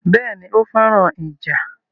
Béèni, ó féràn ìjà